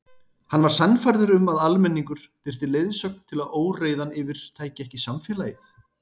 Hann var sannfærður um að almenningur þyrfti leiðsögn til að óreiðan yfirtæki ekki samfélagið.